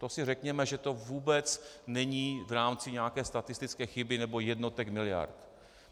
To si řekněme, že to vůbec není v rámci nějaké statistické chyby nebo jednotek miliard.